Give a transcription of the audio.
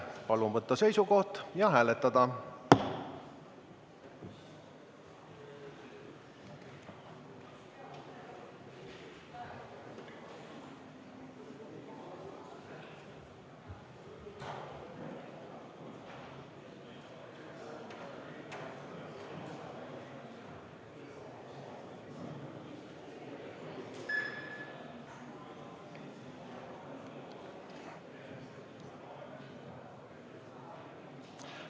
Palun võtta seisukoht ja hääletada!